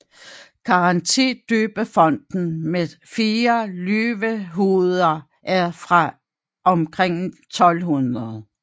Grantidøbefonten med fire løvehoveder er fra omkring 1200